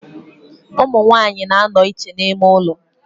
Umunwanyi na-ano iche n'ime ulo.